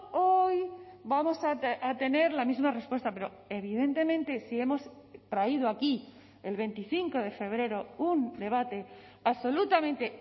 hoy vamos a tener la misma respuesta pero evidentemente si hemos traído aquí el veinticinco de febrero un debate absolutamente